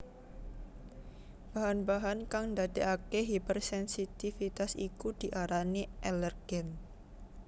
Bahan bahan kang ndadèkaké hipersensitivitas iku diarani alèrgen